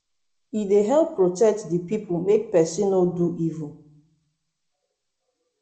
e dey help protect de people make pesin no do evil.